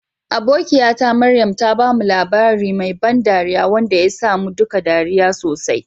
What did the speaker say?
Abokiyata Maryam ta bamu labari mai ban dariya wanda ya sa mu duka ɗariya sosai.